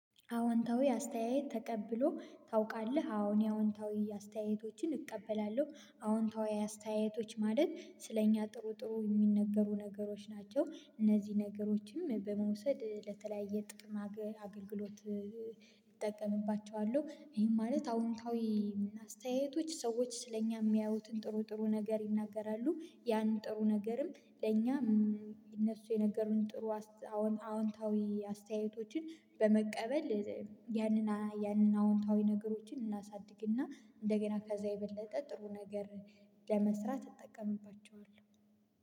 አዎንታዊ አስተያየት ተቀብለህ ታውቃለህ አዎ እኔ አዎንታዊ አስተያየቶችን እቀበላለሁ አዎንታዊ አስተያየቶች ማለት ስለእኛ ጥሩ ጥሩ የሚነገሩ ነገሮች ናቸው እነዚህ ነገሮችም በመውሰድ ለተለያየ ጥቅም አገልግሎት። እጠቀምባቸዋለሁ ይሄን ማለት አዎንታዊ አስተያየቶች ሰዎች ስለእኛ የሚያዩትን ጥሩ ጥሩ ነገር ይናገራሉ። ያን ጥሩ ነገርም ለእኛም እነሱ የነገሩን ጥሩ። አዎንታዊ አስተያየቶችን በመቀበል ያንን ያንን አዎንታዊ ነገሮችን እናሳድግና እንደገና ከዛ የበለጠ ጥሩ ነገር ለመስራት እጠቀምባቸዋለሁ